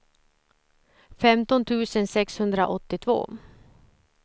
femton tusen sexhundraåttiotvå